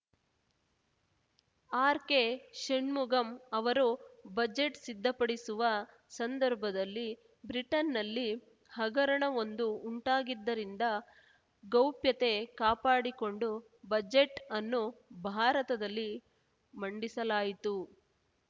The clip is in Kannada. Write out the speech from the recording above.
ಆರ್‌ಕೆ ಶಣ್ಮುಗಂ ಅವರು ಬಜೆಟ್‌ ಸಿದ್ಧಪಡಿಸುವ ಸಂದರ್ಭದಲ್ಲಿ ಬ್ರಿಟನ್‌ನಲ್ಲಿ ಹಗರಣವೊಂದು ಉಂಟಾಗಿದ್ದರಿಂದ ಗೌಪ್ಯತೆ ಕಾಪಾಡಿಕೊಂಡು ಬಜೆಟ್‌ ಅನ್ನು ಭಾರತದಲ್ಲಿ ಮಂಡಿಸಲಾಯಿತು